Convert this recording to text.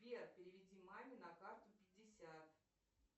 сбер переведи маме на карту пятьдесят